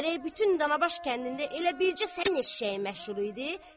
Gərək bütün Dana baş kəndində elə bircə sənin eşşəyin məşhur idi.